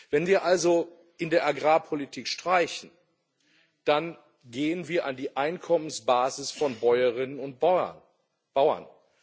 Wenn wir also in der Agrarpolitik streichen, dann gehen wir an die Einkommensbasis von Bäuerinnen und Bauern.